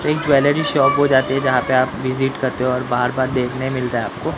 एक jewellery shop हो जाती है जहां पे आप विजिट करते हो और बार-बार देखने मिलता है आपको--